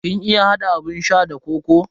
Kin iya hada abun sha da kokoo?